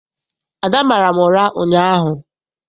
Ada mara m ụra ụnyaahụ.